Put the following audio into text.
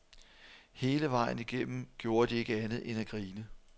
Hele vejen igennem gjorde de ikke andet end at grine.